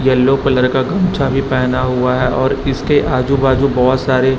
yellow colour का गमछा भी पहना हुआ है और इसके आजू बाजू बोहोत सारे--